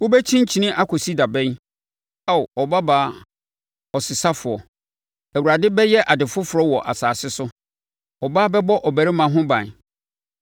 Wobɛkyinkyini akɔsi da bɛn, Ao, ɔbabaa ɔsesafoɔ? Awurade bɛyɛ ade foforɔ wɔ asase so, ɔbaa bɛbɔ ɔbarima ho ban.”